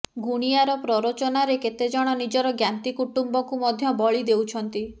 ଗୁଣିଆର ପ୍ରରୋଚନାରେ କେତେ ଜଣ ନିଜର ଜ୍ଞାତି କୁଟୁମ୍ବକୁ ମଧ୍ୟ ବଳି ଦେଉଛନ୍ତି